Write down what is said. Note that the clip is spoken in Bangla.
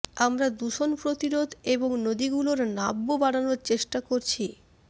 আমরা দূষণ প্রতিরোধ এবং নদীগুলোর নাব্য বাড়ানোর চেষ্টা করছি